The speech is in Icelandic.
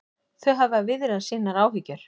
Þau hafa viðrað sínar áhyggjur